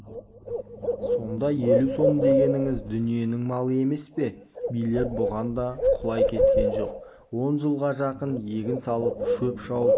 сонда елу сом дегеніңіз дүниенің малы емес пе билер бұған да құлай кеткен жоқ он жылға жақын егін салып шөп шауып